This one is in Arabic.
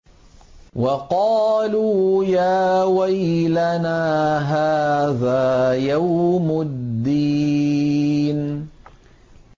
وَقَالُوا يَا وَيْلَنَا هَٰذَا يَوْمُ الدِّينِ